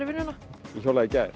í vinnuna ég hjólaði í gær